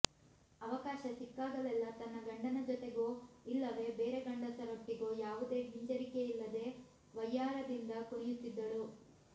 ಅವಕಾಶ ಸಿಕ್ಕಾಗಲೆಲ್ಲಾ ತನ್ನ ಗಂಡನ ಜೊತೆಗೋ ಇಲ್ಲವೇ ಬೇರೆ ಗಂಡಸರೊಟ್ಟಿಗೋ ಯಾವುದೇ ಹಿಂಜರಿಕೆಯಿಲ್ಲದೆ ವಯ್ಯಾರದಿಂದ ಕುಣಿಯುತ್ತಿದ್ದಳು